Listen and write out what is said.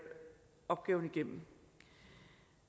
opgaven igennem